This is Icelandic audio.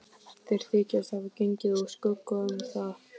Þeir þykjast hafa gengið úr skugga um það.